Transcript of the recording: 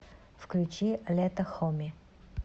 включи лето хоми